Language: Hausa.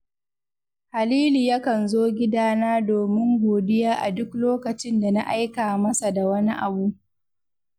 Halilu yakan zo gidana domin godiya a duk lokacin da na aika masa da wani abu